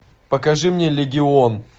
покажи мне легион